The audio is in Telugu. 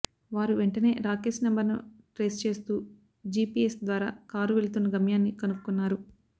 వారు వెంటనే రాకేస్ నెంబర్ ను ట్రేస్ చేస్తూ జీపీఎస్ ద్వారా కారు వెళుతున్న గమ్యాన్ని కనుక్కున్నారు